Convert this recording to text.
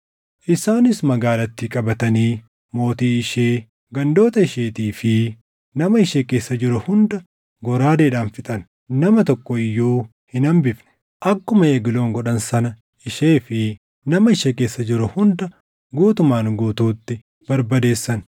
Isaanis magaalattii qabatanii mootii ishee, gandoota isheetii fi nama ishee keessa jiru hunda goraadeedhaan fixan. Nama tokko iyyuu hin hambifne. Akkuma Egloon godhan sana ishee fi nama ishee keessa jiru hunda guutumaan guutuutti barbadeessan.